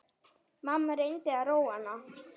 Mamma reyndi að róa hana.